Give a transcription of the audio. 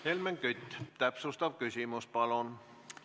Helmen Kütt, täpsustav küsimus, palun!